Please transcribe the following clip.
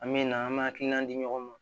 An me na an me hakilina di ɲɔgɔn ma